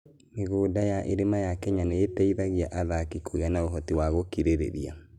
Mĩgũnda ya irĩma ya Kenya nĩ ĩteithagia athaki kũgĩa na ũhoti wa gũkirĩrĩria.